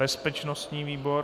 Bezpečnostní výbor.